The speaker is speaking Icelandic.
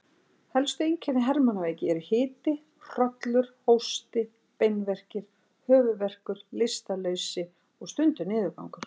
Helstu einkenni hermannaveiki eru hiti, hrollur, hósti, beinverkir, höfuðverkur, lystarleysi og stundum niðurgangur.